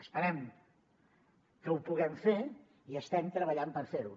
esperem que ho puguem fer i estem treballant per fer ho